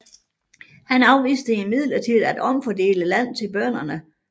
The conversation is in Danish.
Han afviste imidlertid at omfordele land til bønderne